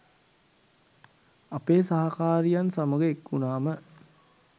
අපේ සහකාරියන් සමග එක්වුණාම